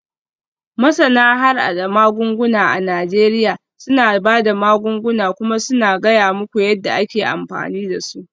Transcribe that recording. Masana harhada magunguna a Najeriya suna ba da magunguna kuma suna gaya muku yadda ake amfani da su.